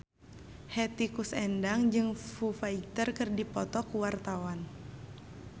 Hetty Koes Endang jeung Foo Fighter keur dipoto ku wartawan